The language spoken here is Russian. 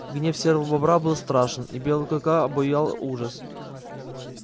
гнев серого бобра был страшен и белого клыка обуял ужас